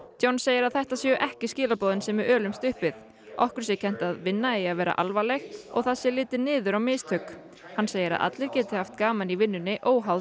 John segir að þetta séu ekki skilaboðin sem við ölumst upp við okkur sé kennt að vinna eigi að vera alvarleg og það sé litið niður á mistök hann segir að allir geti haft gaman í vinnunni óháð